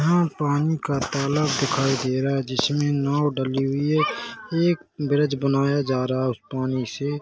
यहाँ पानी का तालाब दिखाई दे रहा है जिसमे नाँव डली हुई है एक ब्रिज बनाया जा रहा है उस पानी से--